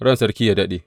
Ran sarki yă daɗe!